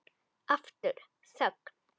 Aftur þögn.